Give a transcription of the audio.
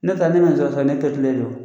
Ne taala ne ma ne